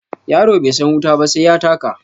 Yaro bai san wuta ba sai ya taka